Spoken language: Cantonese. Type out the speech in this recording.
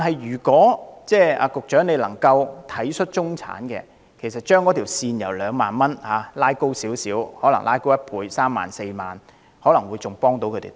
如果局長能體恤中產人士，將退稅額上限稍微提高一倍至三四萬元，對他們的幫助可能會更大。